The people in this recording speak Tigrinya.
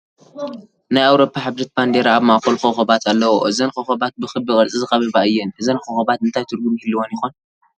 ናይ ኣውሮፖ ሕብረት ባንዲራ ኣብ ማእኸሉ ኮኸባት ኣለዉኦ፡፡ እዘን ኮኸባር ብክቢ ቅርፂ ዝኸበባ እየን፡፡ እዘን ኮኸባት እንታይ ትርጉም ይህልወን ይኾን?